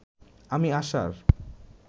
আমি আসার